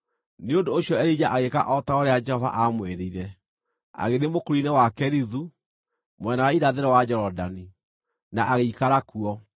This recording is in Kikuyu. Nĩ ũndũ ũcio Elija agĩĩka o ta ũrĩa Jehova aamwĩrire. Agĩthiĩ mũkuru-inĩ wa Kerithu, mwena wa irathĩro wa Jorodani, na agĩikara kuo.